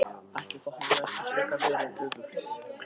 Ætli það hafi ekki frekar verið öfugt!